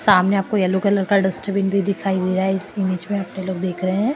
सामने आपको yellow colour का डस्टबिन भी दीखाई दिया इस इमेज मे दीख रहे।